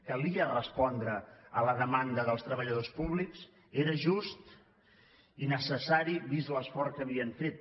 calia respondre a la demanda dels treballadors públics era just i necessari vist l’esforç que havien fet